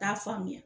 T'a faamuya